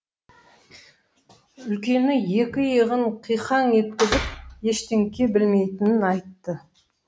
үлкені екі иығын қиқаң еткізіп ештеңке білмейтінін айтты